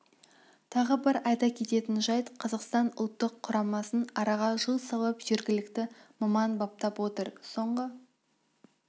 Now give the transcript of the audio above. тағы бір айта кететін жайт қазақстан ұлттық құрамасын араға жыл салып жергілікті маман баптап отыр соңғы